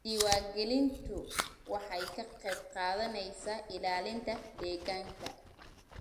Diiwaangelintu waxay ka qayb qaadanaysaa ilaalinta deegaanka.